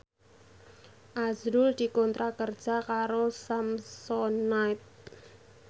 azrul dikontrak kerja karo Samsonite